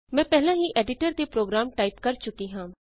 ਮੈਂ ਪਹਿਲਾਂ ਹੀ ਐਡੀਟਰ ਤੇ ਪ੍ਰੋਗਰਾਮ ਟਾਈਪ ਕਰ ਚੁੱਕੀ ਹਾਂ